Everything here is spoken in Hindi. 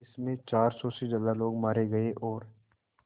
जिस में चार सौ से ज़्यादा लोग मारे गए और